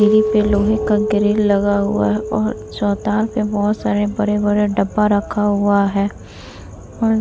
सीढ़ी पे लोहे का ग्रील लगा हुआ है और चौताल पे बहुत सारे बड़े-बड़े डब्बा रखा हुआ है और --